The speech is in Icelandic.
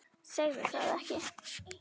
Segðu það ekki